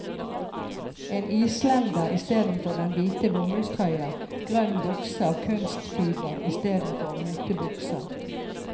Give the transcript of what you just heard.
En islender istedenfor den hvite bomullstrøya, grønn bukse av kunstfiber istedenfor motebuksa.